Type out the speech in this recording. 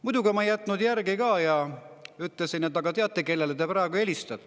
Muidugi ma ei jätnud järgi ka ja: "Aga teate, kellele te helistate?